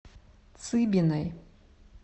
цыбиной